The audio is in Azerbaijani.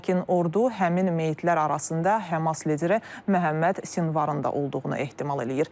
Lakin ordu həmin meyitlər arasında Həmas lideri Məhəmməd Sinvarın da olduğunu ehtimal eləyir.